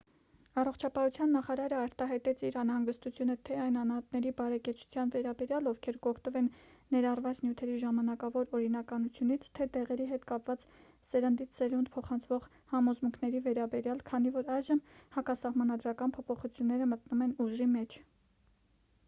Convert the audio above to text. առողջապահության նախարարը արտահայտեց իր անհանգստությունը թե այն անհատների բարեկեցության վերաբերյալ ովքեր կօգտվեն ներառված նյութերի ժամանակավոր օրինականությունից թե դեղերի հետ կապված սերնդից սերունդ փոխանցվող համոզմունքների վերաբերյալ քանի որ այժմ հակասահմանադրական փոփոխությունները մտնում են ուժի մեջ